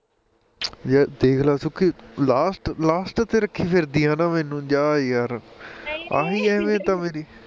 ਯਾਰ ਦੇਖਲਾ Sukhi last last ਤੇ ਰੱਖੀ ਫਿਰਦੀ ਐ ਮੈਨੂੰ ਜਾ ਯਾਰ ਆਹੀਂ ਅਹਿਮਅਤ ਐ ਮੇਰੀ